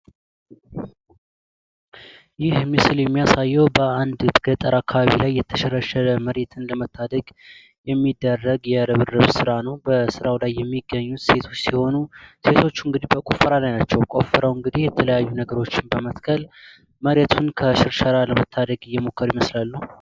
ይህ ምስል የሚያሳዬው በአንድ ገጠር አካባቢ ላይ የተሸረሸረ መሬትን ለመታደግ የሚደረግ የርብርብ ስራ ነው። በስራው ላይ የሚገኙ ሴቶች ሲሆኑ ሴቶቹ እንግዲህ በቁፈራ ላይ ናቸው። ቆፍረው እንግዲህ የተለያዩ ነገሮችን በመትከል መሬቱን ከሽርሸራ ለመታደግ እየሞከሩ ይመስላሉ።